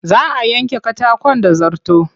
Za a yanke katakon da zarto.